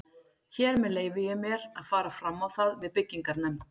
Hér með leyfi ég mér, að fara fram á það við byggingarnefnd